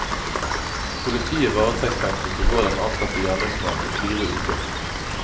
Politiet varetektsfengslet i går den antatte gjerningsmannen i fire uker.